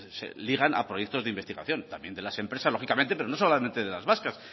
se ligan a proyectos de investigación también de las empresas lógicamente pero no solamente de las vascas